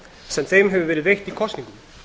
sem þeim hefur verið sitt í kosningum